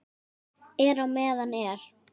NÝBORG Á FJÓNI